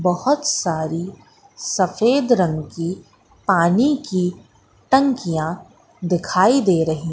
बहोत सारी सफेद रंग की पानी की टंकिया दिखाई दे रही--